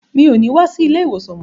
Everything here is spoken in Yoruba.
Mi ò ní wá sí ilé-ìwòsàn mọ́.